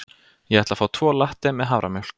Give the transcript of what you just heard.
Ég ætla að fá tvo latte með haframjólk.